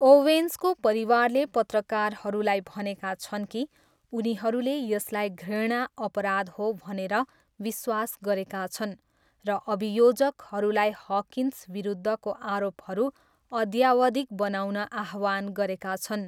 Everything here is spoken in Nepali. ओवेन्सको परिवारले पत्रकारहरूलाई भनेका छन् कि उनीहरूले यसलाई घृणा अपराध हो भनेर विश्वास गरेका छन् र अभियोजकहरूलाई हकिन्स विरुद्धको आरोपहरू अद्यावधिक बनाउन आह्वान गरेका छन्।